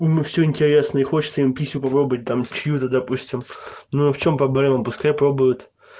ну все интересное хочется им пищу попробовать там чью-то допустим ну а в чем проблема пускай пробует